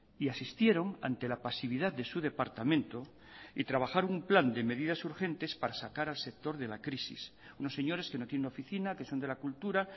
y asistieron ante la pasividad de su departamento y trabajaron un plan de medidas urgentes para sacar al sector de la crisis unos señores que no tienen oficina que son de la cultura